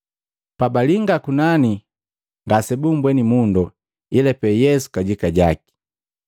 Pabalinga kunani, ngasebumbweni mundu, ila pee Yesu kajika jaki.